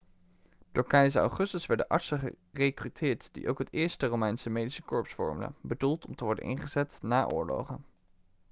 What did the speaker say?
door keizer augustus werden artsen gerekruteerd die ook het eerste romeinse medische korps vormden bedoeld om te worden ingezet na oorlogen